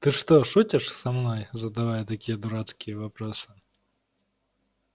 ты что шутишь со мной задавая такие дурацкие вопросы